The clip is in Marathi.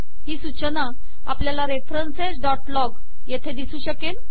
ही सूचना आपल्याला referencesलॉग येथे दिसू शकेल